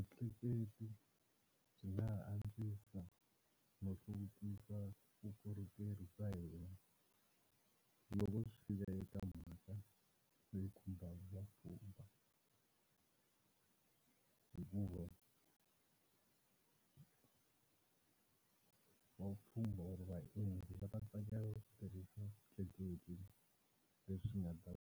Vutleketli byi nga ha antswisa no hluvukisa vukorhokeri bya hina, loko swi fika eka mhaka leyi khumba vapfhumba hikuva va vupfhumba or vaendzi va ta tsakela u ku tirhisa switleketli leswi swi nga ta.